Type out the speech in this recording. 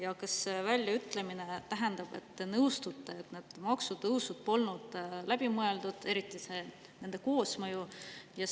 Ja kas see väljaütlemine tähendab, et te nõustute, et need maksutõusud polnud läbi mõeldud, eriti nende koosmõju?